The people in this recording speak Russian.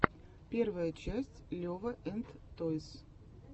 первая часть лева энд тойс